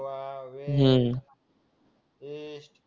हम्म